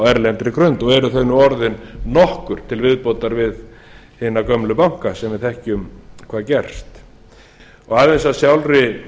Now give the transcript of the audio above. erlendri grund og eru þau nú orðin nokkur til viðbótar við hina gömlu banka sem við þekkjum hvað gerst aðeins að sjálfri